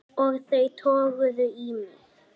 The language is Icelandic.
Og þau toguðu í mig.